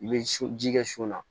I bɛ so ji kɛ so la